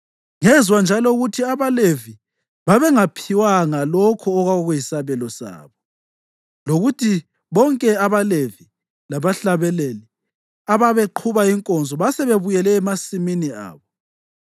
Ngezwa njalo ukuthi abaLevi babengaphiwanga lokho okwakuyisabelo sabo, lokuthi bonke abaLevi labahlabeleli ababeqhuba inkonzo basebebuyele emasimini abo.